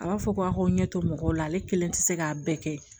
A b'a fɔ ko a ko n ɲɛ to mɔgɔw la ale kelen tɛ se k'a bɛɛ kɛ